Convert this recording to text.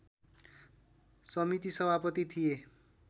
समिति सभापति थिए